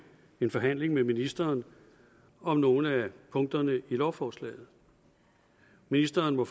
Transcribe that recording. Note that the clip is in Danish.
en forhandling med ministeren om nogle af punkterne i lovforslaget ministeren må